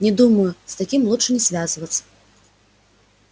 нет думаю с таким лучше не связываться